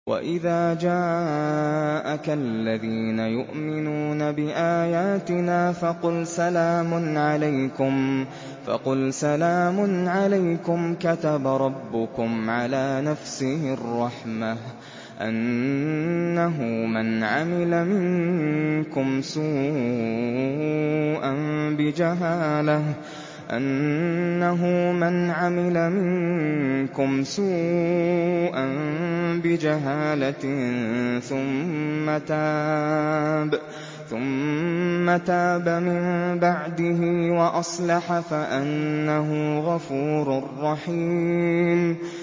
وَإِذَا جَاءَكَ الَّذِينَ يُؤْمِنُونَ بِآيَاتِنَا فَقُلْ سَلَامٌ عَلَيْكُمْ ۖ كَتَبَ رَبُّكُمْ عَلَىٰ نَفْسِهِ الرَّحْمَةَ ۖ أَنَّهُ مَنْ عَمِلَ مِنكُمْ سُوءًا بِجَهَالَةٍ ثُمَّ تَابَ مِن بَعْدِهِ وَأَصْلَحَ فَأَنَّهُ غَفُورٌ رَّحِيمٌ